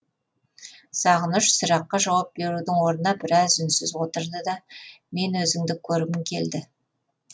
сағыныш сұраққа жауап берудің орнына біраз үнсіз отырды да мен өзіңді көргім келді